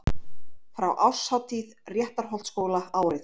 Frá árshátíð Réttarholtsskóla árið